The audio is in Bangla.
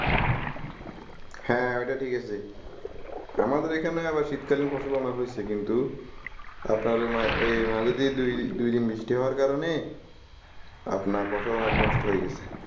হ্যা অইটা ঠিকাছে আমাদের এখানে আবার শীতকালীন ফসল অনেক হয়ছে কিন্তু আপনার অই এই মাঝদি দুই দিন বৃষ্টি হওয়ার কারণে আপনার ফসল অনেক নষ্ট হয়ে গেসে ।